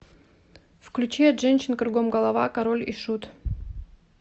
включи от женщин кругом голова король и шут